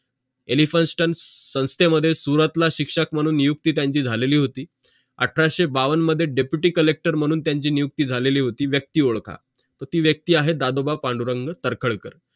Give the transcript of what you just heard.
elphinstone संस्थे मध्ये सुरुवातीला शिक्षक मानून नियुक्ती त्यांची झालेली होती अठराशे बावन मध्ये deputy collector मानून त्यांची नियुक्ती झालेली होती व्यक्ती ओडखा तर ती व्यक्ती आहे दादोबा पांडुरंग तर्खडकर